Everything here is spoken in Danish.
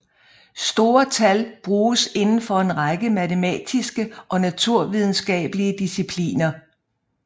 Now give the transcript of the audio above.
Store tal bruges inden for en række matematiske og naturvidenskabelige discipliner